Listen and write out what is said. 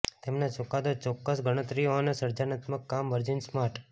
તેમના ચુકાદો ચોક્કસ ગણતરીઓ અને સર્જનાત્મક કામ વર્જિન સ્માર્ટ